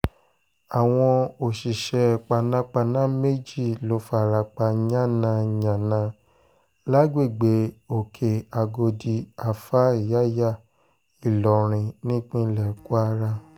àwọn òṣìṣẹ́ panápaná méjì ló fara pa yànnà-yànnà lágbègbè òkè-àgọ́dì alfa yàyà ìlorin nípínlẹ̀ kwara